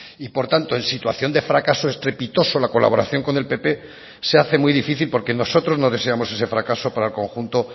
y por tanto en situación de fracaso estrepitoso la colaboración con el pp se hace muy difícil porque nosotros no deseamos ese fracaso para el conjunto